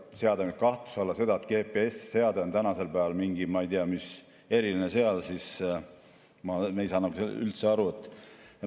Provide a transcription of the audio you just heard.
Seada kahtluse alla seda, et GPS‑seade on tänasel päeval mingi, ma ei tea, eriline seade – ma ei saa sellest üldse aru.